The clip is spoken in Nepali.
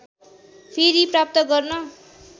फेरि प्राप्त गर्न